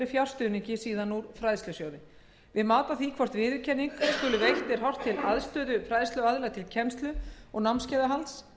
fjárstuðningi úr fræðslusjóði við mat á því hvort viðurkenning skuli veitt er horft til aðstöðu fræðsluaðila til kennslu og námskeiðahalds